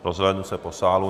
Rozhlédnu se po sálu.